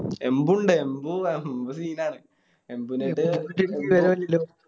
എംബു ഇണ്ട് എംബി എംബു Scene ആണ് എംബുനോട്